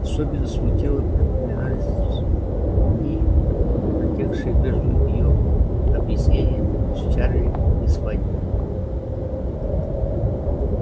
особенно смутно припоминались дни протекшие между её объяснением с чарли и свадьбой